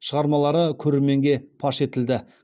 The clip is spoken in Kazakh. шығармалары көрерменге паш етілді